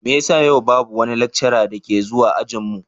Me yasa yau babu wani lecturer da ke zuwa ajin mu?